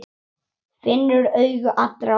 Finnur augu allra á sér.